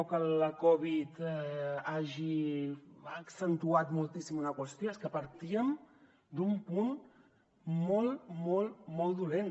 o que la covid hagi accentuat moltíssim una qüestió és que partíem d’un punt molt molt molt dolent